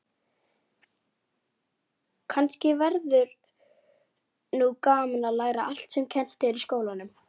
Stytt upp